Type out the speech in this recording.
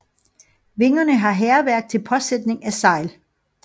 Vingerne har hækværk til påsætning af sejl